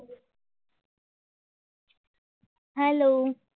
hello